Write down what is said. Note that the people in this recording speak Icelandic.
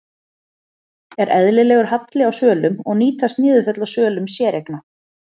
Er eðlilegur halli á svölum og nýtast niðurföll á svölum séreigna?